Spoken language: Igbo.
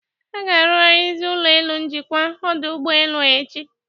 A ga-aruzigharị ụlọelu njikwa ọdụ ụgbelu a echi.